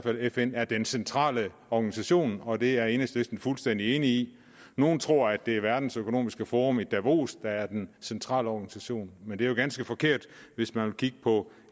at fn er den centrale organisation og det er enhedslisten fuldstændig enig i nogle tror at det er det verdensøkonomiske forum i davos der er den centrale organisation men det er jo ganske forkert hvis man vil kigge på